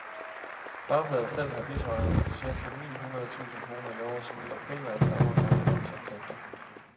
Fagbladet selv har bidraget med cirka ni hundrede tusind kroner i overskud, der primært stammer fra annonceindtægter.